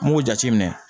N b'o jateminɛ